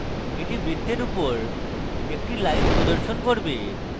এটি বৃত্তের উপর একটা লাইন প্রদর্শন করবে